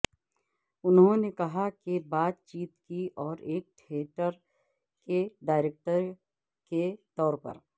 انہوں نے کہا کہ بات چیت کی اور ایک تھیٹر کے ڈائریکٹر کے طور پر